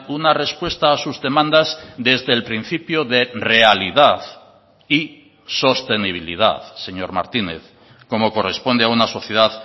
una respuesta a sus demandas desde el principio de realidad y sostenibilidad señor martínez como corresponde a una sociedad